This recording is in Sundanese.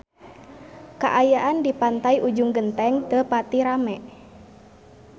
Kaayaan di Pantai Ujung Genteng teu pati rame